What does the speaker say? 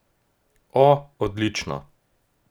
O, odlično.